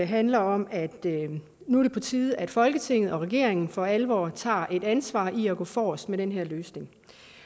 handler om at det nu er på tide at folketinget og regeringen for alvor tager et ansvar ved at gå forrest med den her løsning